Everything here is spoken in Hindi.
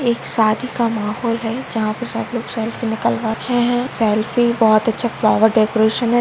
एक शादी का माहोल है जहाँ पे सब लोग सेल्फी निकलवा रहे हैं सेल्फी बहुत अच्छा फ्लावर डेकोरेशन है।